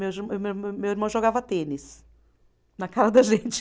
Meu meu meu, meu irmão jogava tênis na cara da gente.